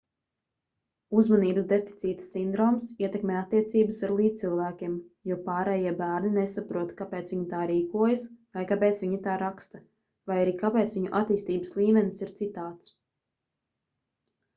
uzmanības deficīta sindroms ietekmē attiecības ar līdzcilvēkiem jo pārējie bērni nesaprot kāpēc viņi tā rīkojas vai kāpēc viņi tā raksta vai arī kāpēc viņu attīstības līmenis ir citāds